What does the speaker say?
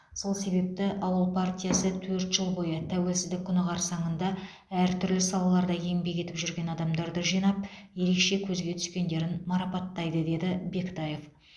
сол себепті ауыл партиясы төрт жыл бойы тәуелсіздік күні қарсаңында әртүрлі салаларда еңбек етіп жүрген адамдарды жинап ерекше көзге түскендерін марпаттайды деді бектаев